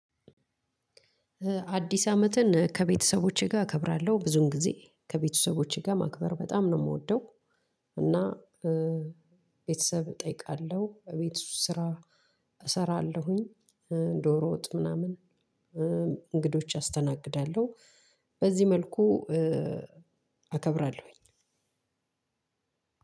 አዲስ አመትን ከቤተሰቦቼ ጋር እከብራለሁ። ብዙውን ጊዜ ከቤተሰቦቼ ጋር ማክበር በጣም ነው የምወደው እና ቤተሰብ እጠይቃለሁ። ቤት ውስጥ ስራ እሰራለሁኝ። ዶሮ ወጥ ምናምን እንግዶች አስተናግዳለሁ። በዚህ መልኩ እከብራለሁኝ።